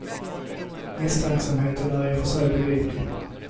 Misstänksamheten är i och för sig begriplig.